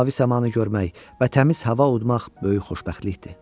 Mavi səmanı görmək və təmiz hava udmaq böyük xoşbəxtlikdir.